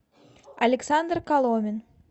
александр коломин